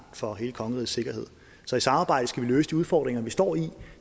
for hele kongerigets sikkerhed så i samarbejde skal vi løse de udfordringer vi står i